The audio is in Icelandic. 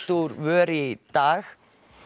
úr vör í dag